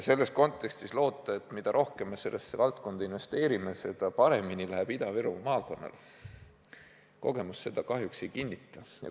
Selles kontekstis loota, et mida rohkem me sellesse valdkonda investeerime, seda paremini Ida-Viru maakonnal läheb – kogemus seda kahjuks ei kinnita.